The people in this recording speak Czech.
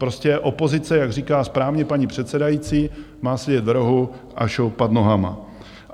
Prostě opozice, jak říká správně paní předsedající, má sedět v rohu a šoupat nohama.